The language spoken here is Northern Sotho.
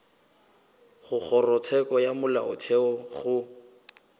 go kgorotsheko ya molaotheo go